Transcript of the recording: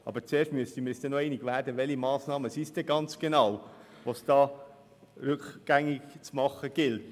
Aber dann müssten wir uns zuerst noch einig werden, welche Massnahmen es denn genau sind, die es rückgängig zu machen gilt.